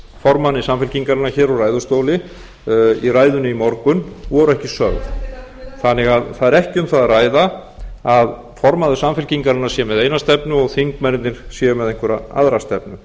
formanni samfylkingarinnar hér úr ræðustóli í ræðunni í morgun voru ekki sönn það er því ekki um það að ræða að formaður samfylkingarinnar sé með eina stefnu og þingmennirnir séu með einhverja aðra stefnu